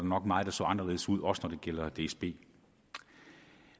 nok meget der så anderledes ud også når det gælder dsb